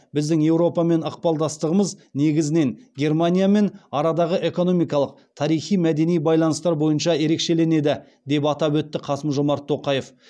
біздің еуропамен ықпалдастығымыз негізінен германиямен арадағы экономикалық тарихи мәдени байланыстар бойынша ерекшеленеді деп атап өтті қасым жомарт тоқаев